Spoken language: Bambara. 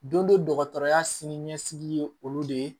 Don dɔ dɔgɔtɔrɔya sini ɲɛsigi ye olu de ye